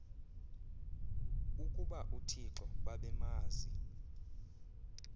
ukuba uthixo babemazi